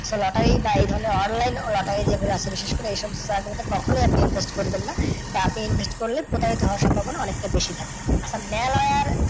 So lottery বা এই ধরণের online lottery যেগুলো আছে বিশেষ করে এই সমস্ত জাইগা গুলোতে কখনই আপনি invest করবেন না। বা আপনি invest করলে প্রতারিত হওয়ার সম্ভাবনা অনেকটা বেশি থাকবে। আচ্ছা মেলার